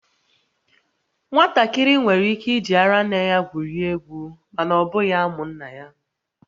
Nwatakịrị nwere ike iji ara nne ya gwurie egwu, mana ọ bụghị amụ nna ya